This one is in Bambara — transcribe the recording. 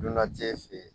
Dunanje fe yen